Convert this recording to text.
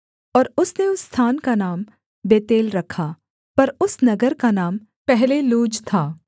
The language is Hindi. और उसने उस स्थान का नाम बेतेल रखा पर उस नगर का नाम पहले लूज था